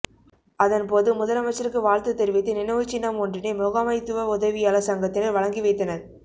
அதன்போது முதலமைச்சருக்கு வாழ்த்து தெரிவித்து நினைவுச்சின்னம் ஒன்றினை முகாமைத்துவ உதவியாளர் சங்கத்தினர் வழங்கி வைத்தனர்